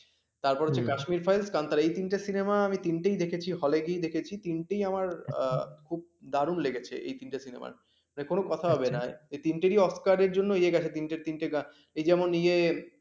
তারপর যে কাশ্মীরি files গান তারা এই তিনটে সিনেমা এই তিনটে দেখেছি আমি হলে গিয়ে দেখেছি তিনটেই আমার খুব দারুণ লেগেছে এই তিনটা cinema মানে কোন কথা হবে না এই তিনটি oscor জন্যই গেছে, তিনটে তিনটে গান এ যেমন ইয়ে